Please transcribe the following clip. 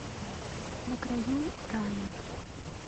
на краю рая